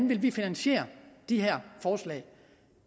ville finansiere de her forslag